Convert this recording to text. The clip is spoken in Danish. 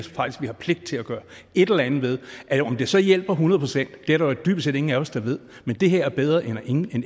faktisk vi har pligt til at gøre et eller andet ved om det så hjælper hundrede procent er der dybest set ingen af os der ved men det her er bedre end